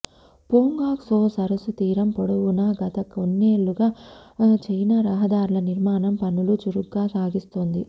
పోంగాంగ్ సో సరస్సు తీరం పొడవునా గత కొన్నే ళ్లుగా చైనా రహదార్ల నిర్మాణం పనులు చురుగ్గా సాగిస్తోంది